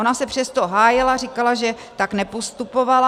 Ona se přesto hájila, říkala, že tak nepostupovala.